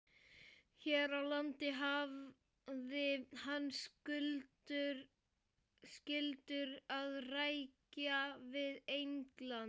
Hér á landi hafði hann skyldur að rækja við England.